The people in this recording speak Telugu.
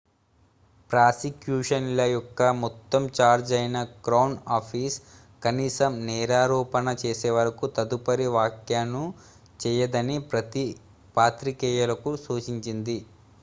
ప్రాసిక్యూషన్ ల యొక్క మొత్తం ఛార్జ్ అయిన క్రౌన్ ఆఫీస్ కనీసం నేరారోపణ చేసేవరకు తదుపరి వ్యాఖ్యను చేయదని పాత్రికేయులకు సూచించింది